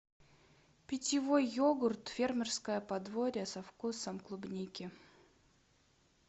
питьевой йогурт фермерское подворье со вкусом клубники